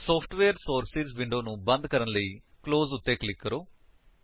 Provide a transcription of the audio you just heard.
software sources window ਨੂੰ ਬੰਦ ਕਰn ਲਈ ਕਲੋਜ ਕਲੋਜ਼ ਉੱਤੇ ਕਲਿਕ ਕਰੋ